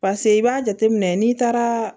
Paseke i b'a jateminɛ n'i taara